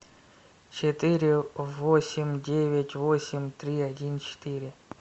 четыре восемь девять восемь три один четыре